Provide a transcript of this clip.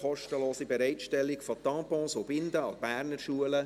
«Kostenlose Bereitstellung von Tampons und Binden an Berner Schulen».